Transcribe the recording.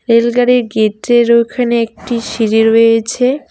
Rail গাড়ির gate -এর ওইখানে একটি সিড়ি রয়েছে।